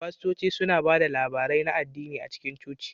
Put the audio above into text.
Fastoci suna ba da labarai na addini a cikin coci.